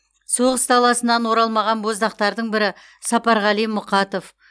соғыс даласынан оралмаған боздақтардың бірі сапарғали мұқатов